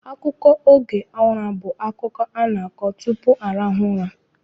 Akụkọ oge ụra bụ akụkọ a na-akọ tupu arahụ ụra.